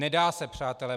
Nedá se, přátelé.